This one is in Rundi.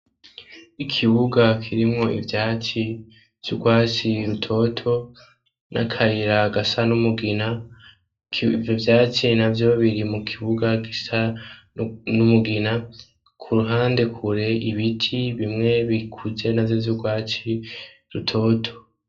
Ikibuga kirimwo ivyatsi vy'urwatsi rutoto n'akayira gasa n'umugina, ivyo vyatsi navyo biri mu kibuga gisa n'umugina, ku ruhande kure ibiti bimwe bikuze navyo vy'urwatsi rutoto.